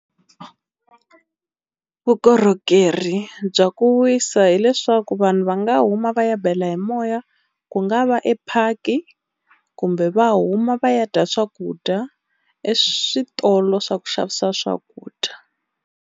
Vukorhokeri bya ku wisa hileswaku vanhu va nga huma va ya bela hi moya ku nga va epark, kumbe va huma va ya dya swakudya eswitolo swa ku xavisa swakudya.